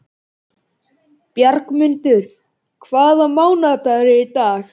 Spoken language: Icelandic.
Bjargmundur, hvaða mánaðardagur er í dag?